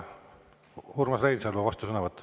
Urmas Reinsalu, vastusõnavõtt.